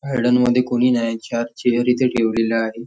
Garden मध्ये कुणी नाहीत आणि चार चेअर इथे ठेवलेल्या आहेत.